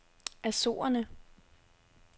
Azorerne